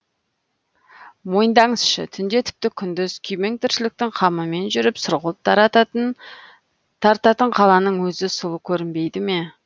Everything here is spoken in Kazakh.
мойындаңызшы түнде тіпті күндіз күйбең тіршіліктің қамымен жүріп сұрғылт тартатын қаланың өзі сұлу көрінбейді ме